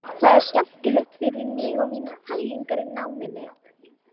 Það er skemmtilegt fyrir mig og mínar pælingar í náminu.